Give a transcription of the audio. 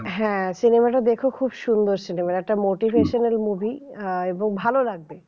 হ্যাঁ cinema টা দেখো খুব সুন্দর cinema একটা motivational movie এবং ভালো লাগবে